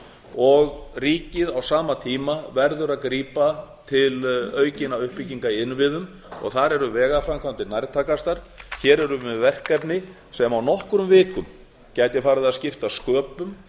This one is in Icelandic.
og ríkið á sama tíma verður að grípa til aukinna uppbygginga í innviðum og þar eru vegaframkvæmdir nærtækastar hér erum við með verkefni sem á nokkrum vikum gætu farið á skipta sköpum